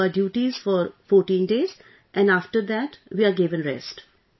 We do our duties for 14 days and after that we are given rest